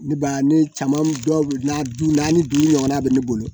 Ne b'a ne caman dɔw na du naani dun ɲɔgɔnna bɛ ne bolo